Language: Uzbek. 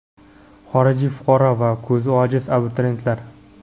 Xorijiy fuqaro va ko‘zi ojiz abituriyentlar.